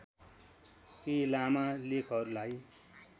केही लामा लेखहरूलाई